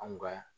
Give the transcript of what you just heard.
Anw ka